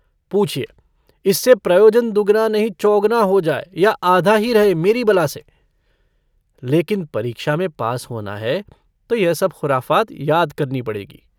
पूछिए इससे प्रयोजन दुगुना नहीं चौगुना हो जाए या आधा ही रहे, मेरी बला से। लेकिन परीक्षा में पास होना है तो यह सब खुराफ़ात याद करनी पड़ेगी।